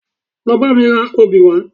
Lọ bá mi ra obì wá